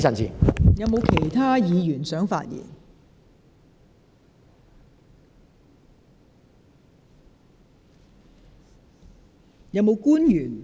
是否有其他議員想發言？